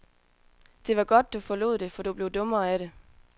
Det var godt, du forlod det, for du blev dummere af det.